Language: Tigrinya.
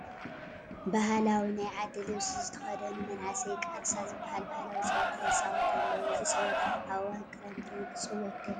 ባህላዊ ናይ ዓዲ ልብሲ ዝተኸደኑ መናእሰይ ቃርሳ ዝበሃል ባህላዊ ፀወታ ይፃወቱ ኣለዉ፡፡ እዚ ፀወታ ኣብ እዋን ክረምቲ ክፅወት ዶ ይኽእል?